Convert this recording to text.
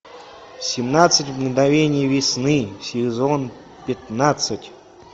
семнадцать мгновений весны сезон пятнадцать